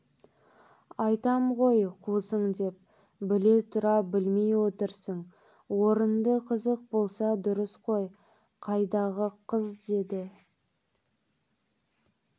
айтам ғой қусың деп біле тұра білмей отырсың орынды қызық болса дұрыс қой қайдағы қыз деді